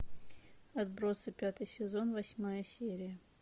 отбросы пятый сезон восьмая серия